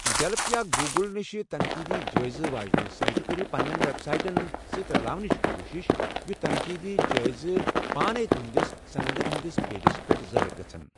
ییٚلپ یا گوٗگٕل یِشہٕ تنٛقیٖدی جٲیزٕ واجنہِ سایٹہٕ کٔرِو پنٛنیٚن ویٚبسایٹَن سۭتۍ رَلاونٕچ کوٗشِش یُتھ تنقیٖدی جٲیزٕ پانَے تُہٕنٛدِس صندن ہِنٛدِس پٖیجَس پیٚٹھ ظٲہِر گَژھن۔